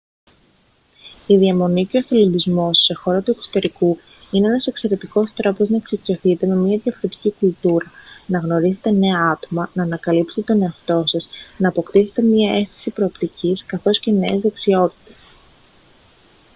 η διαμονή και ο εθελοντισμός σε χώρα του εξωτερικού είναι ένας εξαιρετικός τρόπος να εξοικειωθείτε με μια διαφορετική κουλτούρα να γνωρίσετε νέα άτομα να ανακαλύψετε τον εαυτό σας να αποκτήσετε μια αίσθηση προοπτικής καθώς και νέες δεξιότητες